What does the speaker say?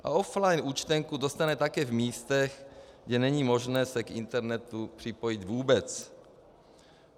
A offline účtenku dostane také v místech, kde není možné se k internetu připojit vůbec.